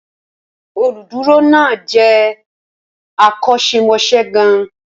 Olùdúró náà jẹ́ akọ́ṣẹ́mọṣẹ́ gan-an.